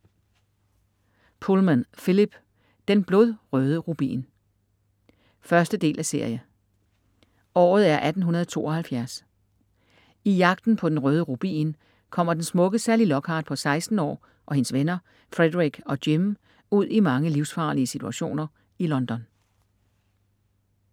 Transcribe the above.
Pullman, Philip: Den blodrøde rubin 1. del af serie. Året er 1872. I jagten på den røde rubin kommer den smukke Sally Lockhart på 16 år og hendes venner, Frederick og Jim, ud i mange livsfarlige situationer i London. E-bog 708309 2008.